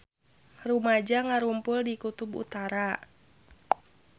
Rumaja ngarumpul di Kutub Utara